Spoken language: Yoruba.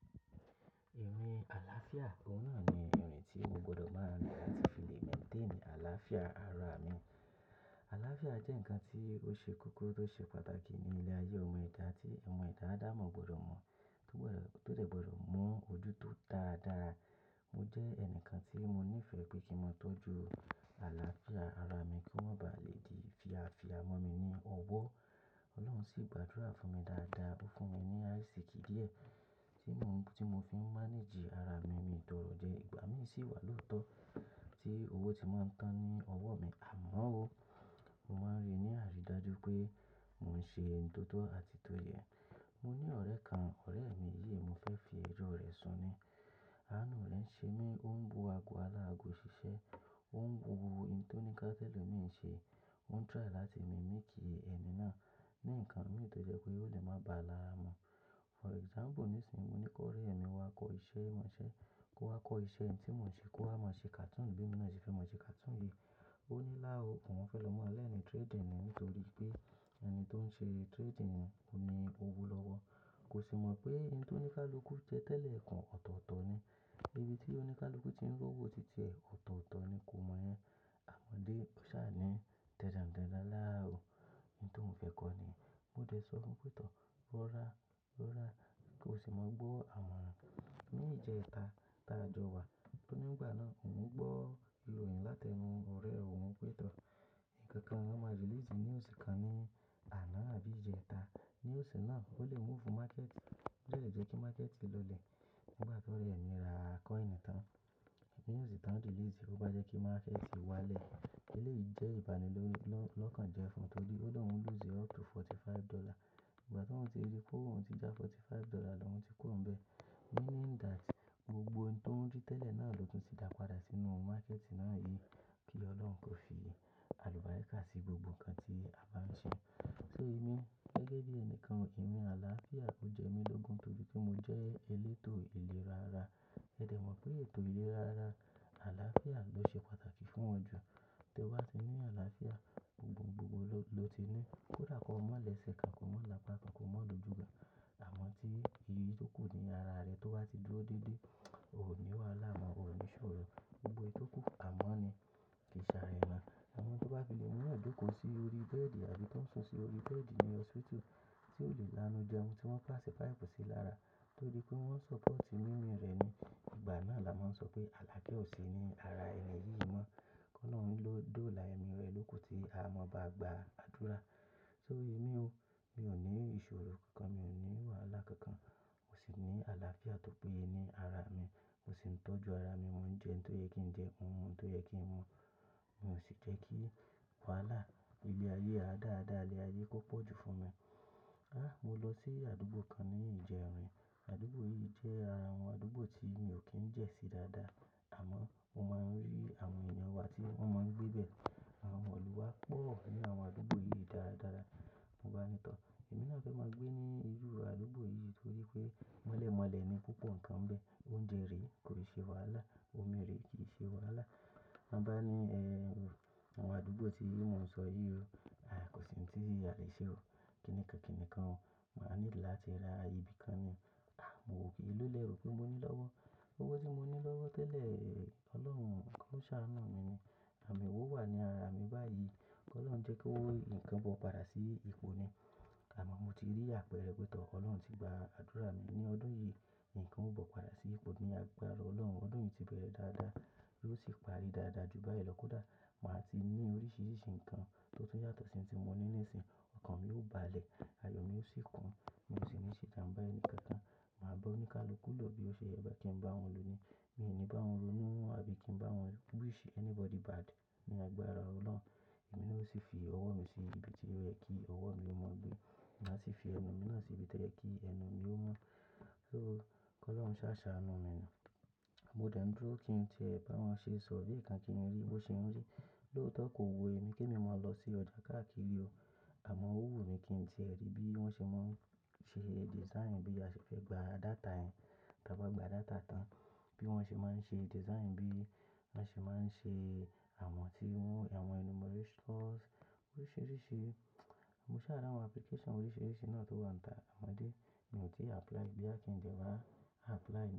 Èmi àlàáfíà, òun náà ni èrè tí mo gbọdọ̀ máa rí láti fi lè mẹ̀ǹtéènì àlàáfíà ara mi. Àlàáfíà jẹ́ nǹkan tí ó ṣe kókó tó ṣe pàtàkì ní ilé-ayé ọmọ ẹ̀dá tí ọmọ ẹ̀dá ádámọ̀ gbọdọ̀ mọ̀ tó dẹ̀ gbọdọ̀ mú ojú tó dáadáa. Mo jẹ́ ẹnìkan tí mo nífẹ̀ẹ́ pé kí n máa tọ́jú àlàáfíà ara mi kí ó má ba lè di fíafía mọ́ mi ní ọwọ́. Ọlọ́run sì gbàdúrà fún mi dáadáa, ó fún mi ní aásìkí díẹ̀ tí mo fi ń manage ara mi, miì tọrọ jẹ, ìgbà míì sì wà lóòótọ́ tí owó ti máa ń tán ní ọwọ́ mi. Àmọ́ ó, mo máa ń ríi ní àrídájú pé mò ń ṣe n tó tọ́ àti tó yẹ. Mo ní ọ̀rẹ́ kan, ọ̀rẹ́ mi yìí mo fẹ́ fi ẹjọ́ rẹ̀ sùn ni. Àánú rẹ̀ ń ṣe mí, ó ń wo ago aláago ṣiṣẹ́, ó ń wo ohun tóníká t'ẹ́lòmíì ń ṣe, ó ń try láti mimic ẹni náà ní nǹkan míì tó jẹ́ pé ó lè má báa lára mu. For example nísìín, mo ní kó rí ẹ̀mí wa kọ́ iṣẹ́ mọṣẹ́ kó wá kọ́ iṣẹ́ n tí mò ń ṣe, kó wá máa ṣe cartoon b'émi náà ṣe fẹ́ máa ṣe cartoon yìí. Ó ní lá o, òun fẹ́ lọ maa lẹ́ẹ̀nì trading ni nítorí pé ẹni tó ń ṣe trading ni owó lọ́wọ́. Kò sì mọ̀ pé ohun t'óníkálukú jẹ́ tẹ́lẹ̀ ikùn, ọ̀tọ̀ọ̀tọ̀ ni. Ibí tí oníkálukú tí ń rówó ti tíẹ̀ ọ̀tọ̀ọ̀tọ̀ ni kò mọ̀ 'yẹn. Àmọ́ dé, ó ṣáà ní dandan ǹ dandan láá o, ohun tóun fẹ́ kọ́ nìyẹn. Mo dẹ̀ sọ fún pé tọ̀, rọ ra, rọ ra, kí o sì máa gbọ́ àmọ̀ran. Ní ìjẹta ta jọ wà, nítorí nígbà náà òun ń gbọ́ ìròyìn láti ẹnu ọ̀rẹ́ òun pé tọ̀. Ìkankan wọn máa release news kan ní àná àbí ìjẹta. News náà ó lè move market, ó jẹ̀ le jẹ́ kí market lọlẹ̀. Nígbà tí ọ̀rẹ́ mi ra coin kan tan, news tí wọ́n release kó bá jẹ́ kí market wá lẹ̀. Eléyìí jẹ́ ìbànilọ́kàn jẹ fún ọ tọ́rí óunlo ń lose up to $45. Nígbà tí oun ti rí pé òun ti já $45 lohun tí kuro ń bẹ́. Meaning that gbogbo ohun to ń rí tẹ́lẹ̀ náà ló tún ti dà padà sínú market náà yìí. Kí Ọlọ́run kó fi àlùbáríkà sí gbogbo ǹkan tí a bá ń ṣe. So èmi gẹ́gẹ́ bí ẹni kan, èmi àlàáfíà ó jẹ́ mi lọ́gùn torí pé mo jẹ́ elétò ìlera ara. Ẹ dẹ̀ mọ̀ pé ètò ìlera ara àlàáfíà ló ṣe pàtàkì fún wọn jù. Tí o bá ti ní àlàáfíà, gbogbo ohun lo ti ní. Kò dàkọ mọ́lẹ̀ ṣẹ́ kan, kò mọ́ làpa kan, kò mọ́ lòjú kan. Àmọ́ tí iyì tó kù ní ara rẹ tó bá ti dúró déédéé, o ò ní wàhálà mọ́, o ò ní ìṣòro. Gbogbo eyi tó kù àmọ́ ni kìí ṣàrẹ̀ mọ́. Àwọn tó bá fi mu yan joko si ori bed àbí tó ń sùn sí ori bed ní hospital tí ò lè lanú jẹun, tí wọ́n páss pipe sí i lára tọ́rí pé wọ́n support mimi rẹ̀ ni, ìgbà náà là máa ń sọ pé aláafia ò si ní ara ẹni yìí mọ́. Kolorun lò dóòlà emi rẹ̀ lóku tí a máa bá gba àdúrà. So èmi o, mi ò ní ìṣòro kankan, mi ò ní wàhálà kankan, mo sì ní àlàáfíà tó péye ní ara mi. Mo sì ń tọ́jú ara mi, mò ń jẹun tó yẹ kí ń jẹun, mò ń mu tó yẹ kí ń mu. Mi ò sì jẹ́ kí wàhálà ibi ayé a dáadáa ilé ayé kó pọ̀ ju fún mi. Ah mo lọ sí àdúgbò kan ní ìjẹ́rìn. Àdúgbò yìí jẹ́ àwọn àdúgbò tí mi ò kí ń jẹ́ sí dáadáa. Àmọ́ mo máa ń rí àwọn èèyàn wa tí wọ́n máa ń gbé bẹ́ẹ̀. Àwọn ọmọ ilu wa pọ̀ ní àwọn àdúgbò yìí dáradara. Mo gbá ní tọ̀, èmi náà fẹ́ máa gbé ní inú àdúgbò yìí torí pé mọ́lẹ̀mọ́lẹ̀ ni púpọ̀ ǹkan bẹ́ẹ̀. Oúnjẹ rè kò ṣe wàhálà, omi rè kì í ṣe wàhálà. Ma bá ní, eh, àwọn àdúgbò tí mò ń sọ yìí o, ah kò sì n ti alè ṣe o. Kìníkìníkìní kan, màá need láti ra ibi kan ni. Ah mo wo pe eeló lẹ̀ rò pé mo ní lọ́wọ́. Owo tí mo ní lọ́wọ́ tẹ́lẹ̀, Ọlọ́run o ko ṣàánú mi ni. Àmiwo wà ní ara mi báyìí. Kí Ọlọ́run jẹ́ kí owó ǹkan bọ̀ padà sí ipò ni. Àmọ́ mo ti rí àpẹẹrẹ pé tọ́ Ọlọ́run ti gba àdúrà mi ní ọdún yìí, ǹkan ó bọ̀ padà sí ipò ní àgbára Ọlọ́run. Ọdún yìí ti bẹ̀rẹ̀ dáadáa, yóò sì parí dáadáa ju báyìí lọ kódà. Màá ti ní oríṣiríṣi ǹkan tó tún yàtọ̀ sí ohun tí mo ní ní ìsìn. Òkan mi ó ba lẹ̀, ayọ̀ mi ó sì kún. Mi ò sì ní ṣe jamba enìkan kan. Màá bá ònikaluku ló bí ó ṣe ń yẹ bá kí ń bá wòun lo ní. Mi ò ní bá won ronú àbí kí ń bá won wish anybody bad ní àgbára Ọlọ́run. Èmi naa o sì fi ọwọ́ mi sí ibi tí ó yẹ kí ọwọ́ mi ó mọ́ gbé. Màá sì fi ẹnu mi náà sí ibi tó yẹ kí ẹnu mi ó mọ́. So kí Ọlọ́run ṣà ṣàánú mi ni. Mo dẹ̀ ń dúró kí n tìẹ ẹ̀ bá wọn ṣe survey kan kí n rí bí ó ṣe ń rí. Lọ́otọ̀ kò wù emí kí èmi máa lọ sí ọjà káàkiri o. Àmọ́ ó wù mí kí n tìẹ rí bí wọ́n ṣe máa ń ṣe design bí a ṣe fẹ́ gba data ẹ̀, ta bá gba data tán. Bí wọ́n ṣe máa ń ṣe design bí wọ́n ṣe máa ń ṣe àwọn tí wọn, àwọn enumerations oríṣiríṣi. Mo ṣà tri àwọn application oríṣiríṣi náà tó wọ́n ta. Àmọ́dé, mi ò tíì apply boya kí ń de wa apply.